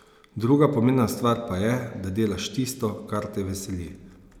Druga pomembna stvar pa je, da delaš tisto, kar te veseli.